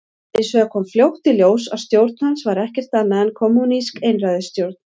Hins vegar kom fljótt í ljós að stjórn hans var ekkert annað en kommúnísk einræðisstjórn.